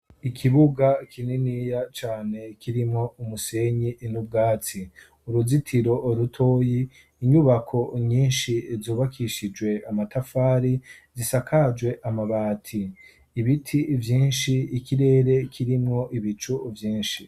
Ikibuga kininiya cane kirimwo umusenyi n'ubwatsi, uruzitiro rutoyi ,inyubako nyinshi zubakishijwe amatafari, gisakajwe amabati, ibiti vyinshi, ikirere kirimwo ibicu vyinshi.